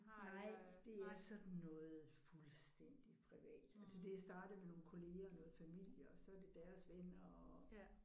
Nej det er sådan noget fuldstændig privat det er startet med nogle kollegaer og noget familie og så er det deres venner og